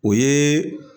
O ye